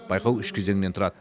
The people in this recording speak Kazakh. байқау үш кезеңнен тұрады